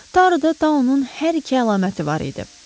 Taruda Daunun hər iki əlaməti var idi.